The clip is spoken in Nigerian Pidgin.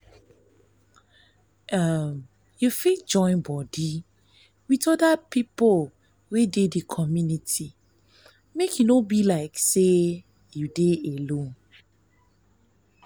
di one wey to rub mind for local government matter and policy na to dey at ten d their meeting